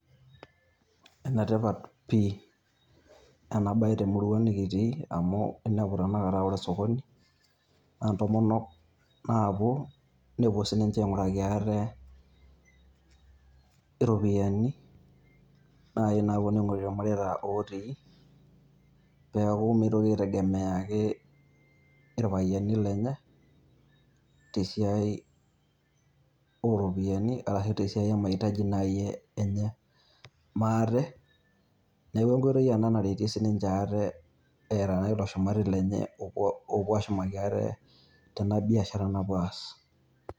Ene tipat pii ena bae temurua nikitii amu enepu tanakata aa ore Osokoni naa entomonok naapuo nepuo sininche aing'uraki ate iropiyiani naayii naaponu aing'orie irmareita lotii neeku megira ake aitegemea irpayiani lenye tesiadi iropiyiani arashu tesiai emaitaji naii enye maate neeku enkoitoi naretie naaji sininche ate eeta ilo shumati lenye oopuo ashumaki ate tena biashara naapuo aas.